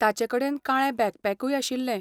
ताचेकडेन काळें बॅकपॅकूय आशिल्लें.